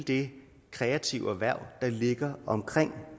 det kreative erhverv der ligger omkring